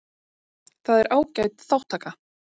Það er ágæt þátttaka